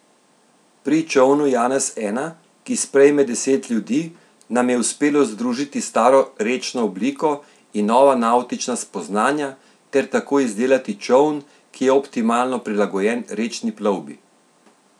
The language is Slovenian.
Pri čolnu Janez I, ki sprejme deset ljudi, nam je uspelo združiti staro rečno obliko in nova navtična spoznanja ter tako izdelati čoln, ki je optimalno prilagojen rečni plovbi.